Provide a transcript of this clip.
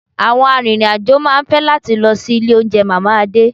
Àwọn arìnrìn-àjò máa ń fẹ́ láti lọ sí ilé oúnjẹ Mama Ade